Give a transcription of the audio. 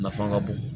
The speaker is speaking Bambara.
Nafa ka bon